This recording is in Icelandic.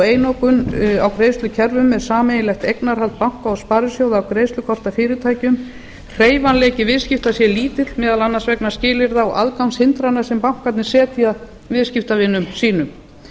einokun á greiðslukerfum með sameiginlegt eignarhald banka og sparisjóða af greiðslukortafyrirtækjum hreyfanleiki viðskipta sé lítill meðal annars vegna skilyrða og aðgangshindrana sem bankarnir setja viðskiptavinum sínum